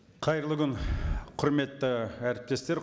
қайырлы күн құрметті әріптестер